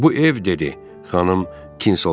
Bu ev dedi xanım Kinsolvin.